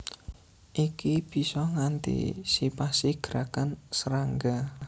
Iki bisa ngantisipasi gerakan serangga